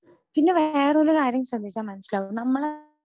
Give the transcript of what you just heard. പിന്നെ വേറൊരു കാര്യം ശ്രദ്ധിച്ചാൽ മനസ്സിലാവും നമ്മള്